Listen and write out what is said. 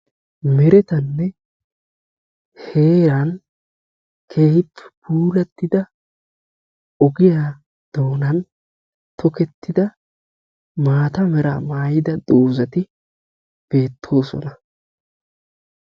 meretanne heeran keehi puulatida ogiyaa doonan tokketida maata meraa maayida doozati beettoosona.